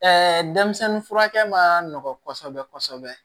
dɛmisɛnnin furakɛ man nɔgɔn kosɛbɛ kosɛbɛ